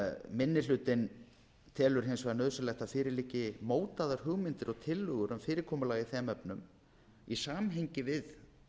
minni hlutinn telur hins vegar nauðsynlegt að fyrir liggi mótaðar hugmyndir og tillögur um fyrirkomulag í þeim efnum í samhengi við